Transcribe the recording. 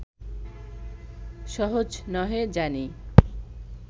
সহজ নহে জানি